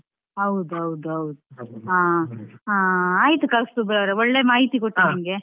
ಹೌದೌದು, ಹಾ ಹಾ ಆಯ್ತು ಕೌಸ್ತಬ್ ಅವ್ರೆ ಒಳ್ಳೆ ಮಾಹಿತಿ ಕೊಟ್ರಿ ನಮ್ಗೆ.